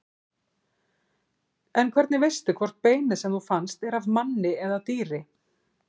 En hvernig veistu hvort beinið sem þú fannst er af manni eða dýri?